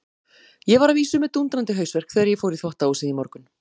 Ég var að vísu með dúndrandi hausverk þegar ég fór í þvottahúsið í morgun.